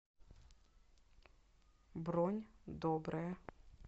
бронь доброе